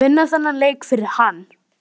Vinna þennan leik fyrir hann!